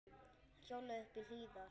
Hann hjólaði uppí Hlíðar.